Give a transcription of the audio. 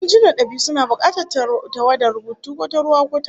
Injinan dab'i suna bukatar tawadar rubutun, ko ta ruwa ko ta gari